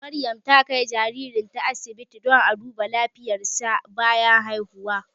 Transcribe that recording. Maryam ta kai jaririnta asibiti domin a duba lafiyarsa bayan haihu.